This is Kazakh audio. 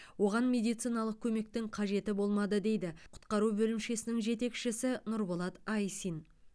оған медициналық көмектің қажеті болмады дейді құтқару бөлімшесінің жетекшісі нұрболат айсин